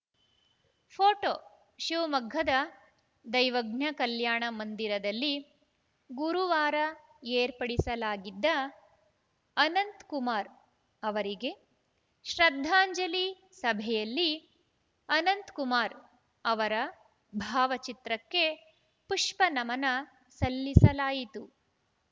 photo ಶಿವಮೊಗ್ಗದ ದೈವಜ್ಞ ಕಲ್ಯಾಣ ಮಂದಿರದಲ್ಲಿ ಗುರುವಾರ ಏರ್ಪಡಿಸಲಾಗಿದ್ದ ಅನಂತ್‌ ಕುಮಾರ್‌ ಅವರಿಗೆ ಶ್ರದ್ಧಾಂಜಲಿ ಸಭೆಯಲ್ಲಿ ಅನಂತ್‌ ಕುಮಾರ್‌ ಅವರ ಭಾವಚಿತ್ರಕ್ಕೆ ಪುಷ್ಪನಮನ ಸಲ್ಲಿಸಲಾಯಿತು